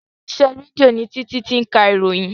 Ilé iṣẹ́ rédíò ni Títí ti ń ka ìròyìn